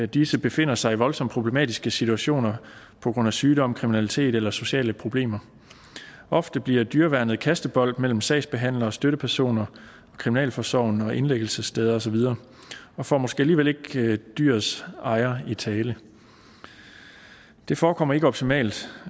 disse befinder sig i voldsomt problematiske situationer på grund af sygdom kriminalitet eller sociale problemer ofte bliver dyreværnet kastebold mellem sagsbehandlere og støttepersoner kriminalforsorgen og indlæggelsessteder og så videre og får måske alligevel ikke dyrets ejer i tale det forekommer ikke optimalt